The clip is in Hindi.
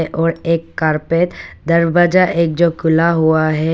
और एक कारपेट दरवाजा एक जो खुला हुआ है।